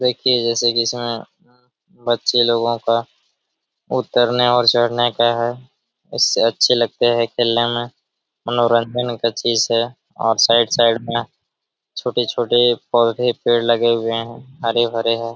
देखिए जैसे कि इसमे बच्चे लोगों का उतरने और चढ़ने का है इससे अच्छे लगते हैं खेलने में मनोरंजन का चीज है और साइड साइड में छोटे-छोटे पौधे पेड़ लगे हुए हैं हरे-भरे है।